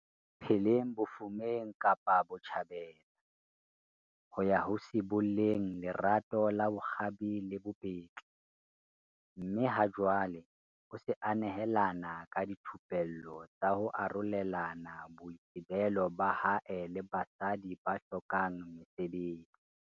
pheleng bofumeng Kapa Botjhabela, ho ya ho sibolleng lerato la bokgabi le bobetli mme ha jwale o se a nehelana ka dithupello tsa ho arolelana boitsebelo ba hae le basadi ba hlokang mesebetsi.